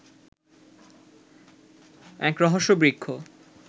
এক রহস্য বৃক্ষ